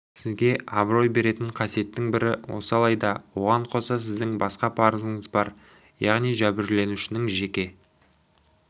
сізге абырой беретін қасиеттің бірі осы алайда оған қоса сіздің басқа парызыңыз бар яғни жәбірленушінің жеке